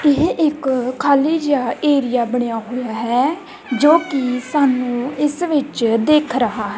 ਇਹ ਇੱਕ ਖਾਲੀ ਜਾ ਏਰੀਆ ਬਣਿਆ ਹੋਇਆ ਹੈ ਜੋ ਕਿ ਸਾਨੂੰ ਇਸ ਵਿੱਚ ਦਿਖ ਰਹਾ--